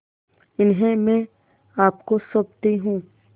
इन्हें मैं आपको सौंपती हूँ